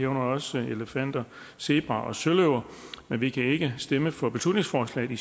også elefanter zebraer og søløver men vi kan ikke stemme for beslutningsforslaget i